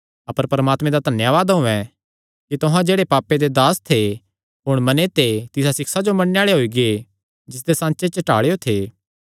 अपर परमात्मे दा धन्यावाद होयैं कि तुहां जेह्ड़ा पापे दे दास थे हुण मने ते तिसा सिक्षा जो मन्नणे आल़े होई गै जिसदे सांचे च ढालेयो थे